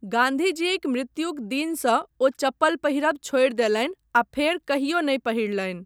गाँधी जीक मृत्युक दिनसँ ओ चप्पल पहिरब छोड़ि देलनि आ फेर कहियो नहि पहिरलनि।